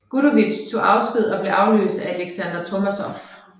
Gudovitj tog sin afsked og blev afløst af Aleksandr Tormasov